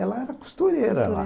Ela era costureira lá.